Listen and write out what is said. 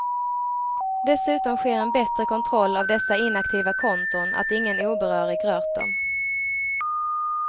Dessutom sker en bättre kontroll av dessa inaktiva konton att ingen obehörig rört dem.